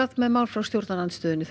með mál frá stjórnarandstöðunni þau